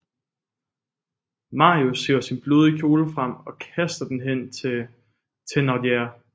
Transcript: Marius hiver sin blodige kjole frem og kaster den hen til Thénardier